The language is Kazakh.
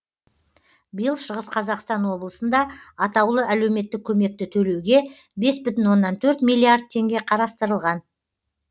биыл шығыс қазақстан облысында атаулы әлеуметтік көмекті төлеуге бес бүтін оннан төрт миллиард теңге қарастырылған